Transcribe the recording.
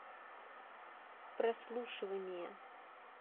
прослушивание